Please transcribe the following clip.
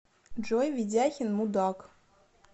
джой ведяхин мудак